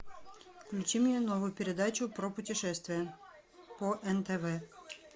включи мне новую передачу про путешествия по нтв